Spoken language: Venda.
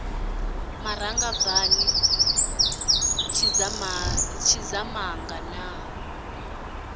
maranga bvani gwaḓi tshidzamanga na